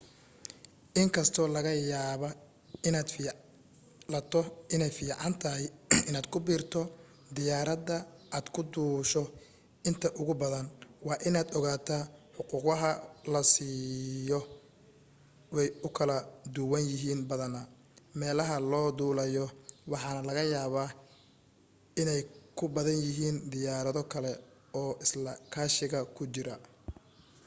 in kastoo laga yaaba inaad filato inay fiican tahay inaad ku biirto diyaarada aad ku duusho inta ugu badan waa inaad ogaataa xuquqaha la baxsho way u kala duwan yihiin badanaa meelaha loo duulayo waxaana laga yaaba inay ku badan yihiin diyaarado kale oo isla kaashiga ku jira